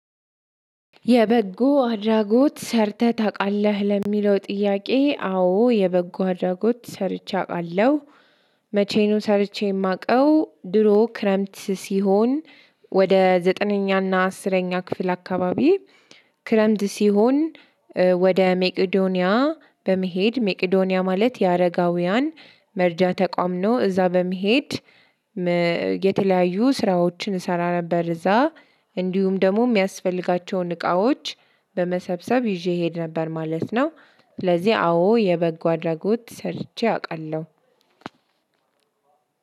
የበጎ አድራጎት ሰርተህ ታውቃለህ? ለሚለው ጥያቄ አዎ የበጎ አድራጎት ሰርቼ አውቃለሁ። መቼ ነው ሰርቼ የማውቀው? ድሮ ክረምት ሲሆን ወደ ዘጠነኛና አስረኛ ክፍል አካባቢ ክረምት ሲሆን ወደ ሜቄዶንያ በመሄድ ሜቄዶንያ ማለት የአረጋውያን መርጃ ተቋም ነው። እዛ በመሄድ የተለያዩ ስራዎችን እሰራ ነበር እዛ እንዲሁም ደግሞ የሚያስፈልጋቸውን እቃዎች በመሰብሰብ ይዤ እሄድ ነበር ማለት ነው። ስለዚህ አዎ የበጎ አድራጎት ሰርቼ አውቃለሁ።